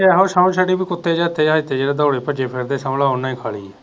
ਕੁੱਤੇ ਜਤੇ ਆ ਇਥੇ ਦੋੜੇ ਪਜੇ ਫਿਰਦੇ ਸਮਜਲੋ ਓਹਨੇ ਹੀ ਖਾਲੀ